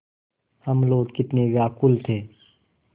हम लोग कितने व्याकुल थे